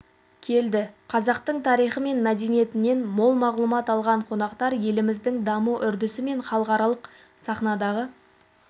келді қазақтың тарихы мен мәдениетінен мол мағлұмат алған қонақтар еліміздің даму үрдісі мен халықаралық сахнадағы